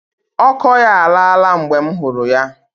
Ọkọ ya alaa la mgbe m hụrụ ya.